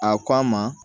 A ko a ma